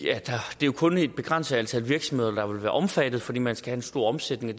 det kun er et begrænset antal virksomheder der vil være omfattet fordi man skal have stor omsætning og